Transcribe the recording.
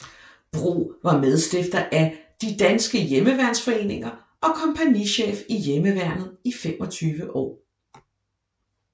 Bro var medstifter af De danske Hjemmeværnsforeninger og kompagnichef i Hjemmeværnet i 25 år